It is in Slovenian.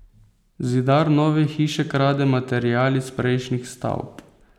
Zidar nove hiše krade material iz prejšnjih stavb.